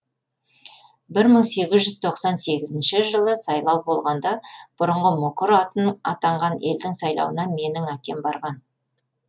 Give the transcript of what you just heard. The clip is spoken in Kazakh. бір мың сегіз жүз тоқсан сегізінші жылы сайлау болғанда бұрынғы мұқыр атанған елдің сайлауына менің әкем барған